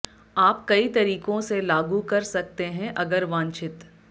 आप कई तरीकों से लागू कर सकते हैं अगर वांछित